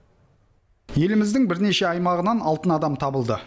еліміздің бірнеше аймағынан алтын адам табылды